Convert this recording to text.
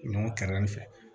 Ɲɔ kɛrɛfɛ